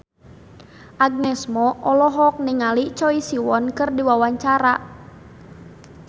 Agnes Mo olohok ningali Choi Siwon keur diwawancara